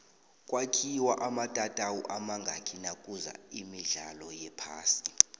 kwakhiwe amatatawu amazngaki nakuza imdlalo wephasi